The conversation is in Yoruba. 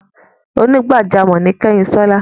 Onígbàjámọ̀ ni Kányinṣọ́lá.